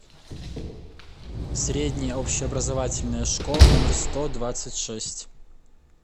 средняя общеобразовательная школа номер сто двадцать шесть